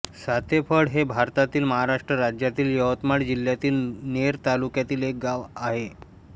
सातेफळ हे भारतातील महाराष्ट्र राज्यातील यवतमाळ जिल्ह्यातील नेर तालुक्यातील एक गाव आहे